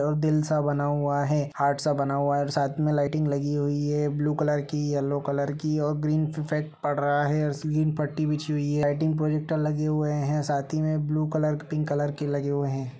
दिल सा बना हुआ है हार्ट सा बना हुआ है साथ में लाइटिंग लगी हुई है ब्लू कलर की येलो कलर की और ग्रीन इफेक्ट पड़ रहा है ग्रीन पट्टी बिछी हुई है लाइटिंग प्रोजेक्टर लगे हुए है साथ ही में ब्लू कलर पिंक कलर के लगे हुए हैं ।